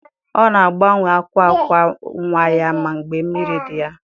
Ọ na-agbanwe akwa akwa nwa ya mgbe mmiri dị ya.